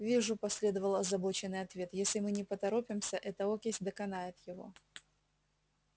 вижу последовал озабоченный ответ если мы не поторопимся эта окись доконает его